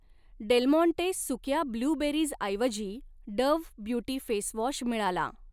del Monte सुक्या ब्लूबेरीजऐवजी Dove beauty facewash मिळाला